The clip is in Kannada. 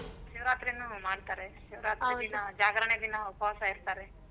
ಶಿವರಾತ್ರಿನೂ ಮಾಡ್ತಾರೆ ಜಾಗರಣೆ ದಿನ ಉಪವಾಸ ಇರ್ತಾರೆ.